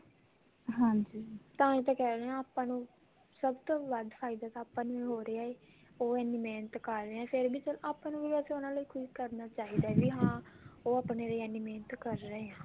ਹਾਂਜੀ ਤਾਂਹੀ ਤਾਂ ਕਹਿੰਦੇ ਹਾਂ ਆਪਾਂ ਨੂੰ ਸਭ ਤੋਂ ਵੱਧ ਫਾਇਦਾ ਤਾਂ ਆਪਾਂ ਨੂੰ ਹੀ ਹੋ ਰਿਹਾ ਹੈ ਉਹ ਇੰਨੀ ਮਿਹਨਤ ਕਰ ਰਹੇ ਆ ਫ਼ੇਰ ਆਪਾਂ ਨੂੰ ਵੈਸੇ ਉਨਹਾ ਲਈ ਕੁੱਝ ਕਰਨਾ ਚਾਹੀਦਾ ਵੀ ਹਾਂ ਉਹ ਆਪਣੇ ਲਈ ਇੰਨੀ ਮਿਹਨਤ ਕਰ ਰਹੇ ਆ